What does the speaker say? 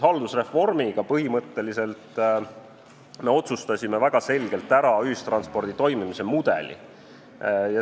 Haldusreformiga me otsustasime väga selgelt ära ühistranspordi toimimise mudeli.